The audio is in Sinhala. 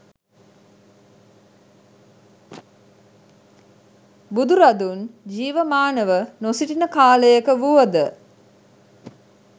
බුදුරදුන් ජීවමානව නොසිටින කාලයක වුවද